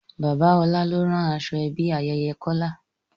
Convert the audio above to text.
Bàbá ọlá ló rán aṣọ ẹbí ayẹyẹ Kọ́lá